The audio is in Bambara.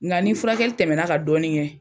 Nga ni furakɛli tɛmɛna ka dɔɔni kɛ